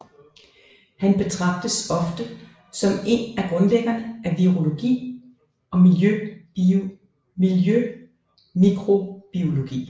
Han betragtes ofte som en af grundlæggerne af virologi og miljømikrobiologi